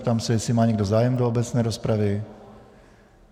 Ptám se, jestli má někdo zájem do obecné rozpravy.